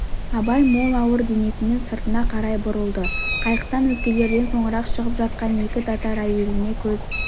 абай мол ауыр денесімен сыртына қарай бұрылды қайықтан өзгелерден соңырақ шығып жатқан екі татар әйеліне көз